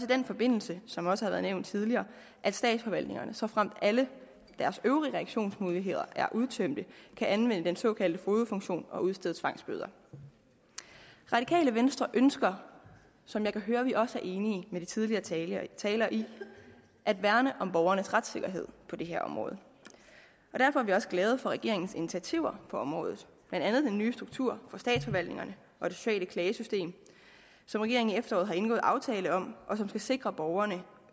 den forbindelse som det også har været nævnt tidligere at statsforvaltningerne såfremt alle deres øvrige reaktionsmuligheder er udtømt kan anvende den såkaldte fogedfunktion og udstede tvangsbøder radikale venstre ønsker som jeg kan høre at vi også er enige med de tidligere talere talere i at værne om borgernes retssikkerhed på det her område derfor er vi også glade for regeringens initiativer på området blandt andet den nye struktur for statsforvaltningerne og det sociale klagesystem som regeringen i efteråret har indgået aftale om og som skal sikre borgerne